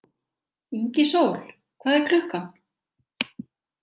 Ingisól, hvað er klukkan?